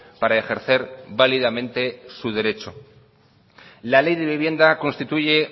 para ejercer válidamente su derecho la ley de vivienda constituye